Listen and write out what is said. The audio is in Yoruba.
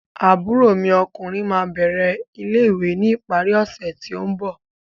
Àbúrò mi ọkùnrin ma bẹrẹ ilé-ìwé ni ìparí ọsẹ ti o mbọ.